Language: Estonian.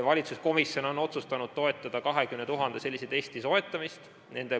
Valitsuskomisjon on otsustanud toetada 20 000 sellise testi soetamist.